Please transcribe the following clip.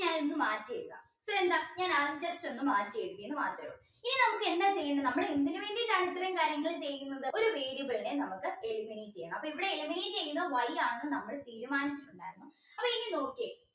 ഞാൻ ഒന്ന് മാറ്റി എഴുതാം ഇപ്പൊ എന്താ മാറ്റി എഴുതി എന്ന് മാത്രേ ഉള്ളു ഇനി നമുക്ക് എന്താ ചെയ്യണ്ടേ നമ്മൾ എന്തിന് വേണ്ടീട്ടാണ് ഇത്രയും കാര്യങ്ങൾ ചെയ്യുന്നത് ഒരു variable നെ നമുക്ക് eliminate ചെയ്യണം അപ്പൊ ഇവിടെ eliminate ചെയ്യുന്നത് Y ആണെന്ന് നമ്മൾ തീരുമാനിച്ചിട്ടുണ്ടായിരുന്നു അപ്പൊ ഇനി നോക്കിയേ